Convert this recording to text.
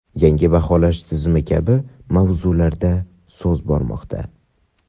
yangi baholash tizimi kabi mavzularda so‘z bormoqda.